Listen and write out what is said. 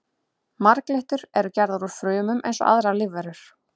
Marglyttur eru gerðar úr frumum eins og aðrar lífverur.